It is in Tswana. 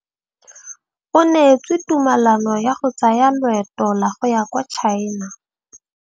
O neetswe tumalanô ya go tsaya loetô la go ya kwa China.